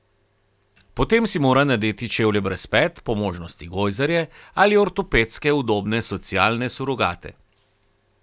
Potem si mora nadeti čevlje brez pet, po možnosti gojzarje ali ortopedske udobne socialne surogate.